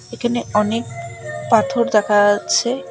এখানে অনেক পাথর দেখা যাচ্ছে।